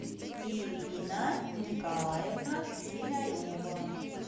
ирина николаевна свинарева